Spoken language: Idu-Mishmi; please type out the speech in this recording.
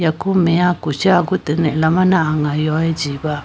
yaku meya kushi agutene alamane anga yoye chiba.